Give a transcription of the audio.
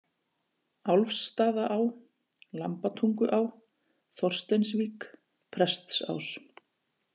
Álfstaðaá, Lambatunguá, Þorsteinsvík, Prestsás